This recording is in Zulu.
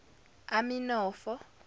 aminofo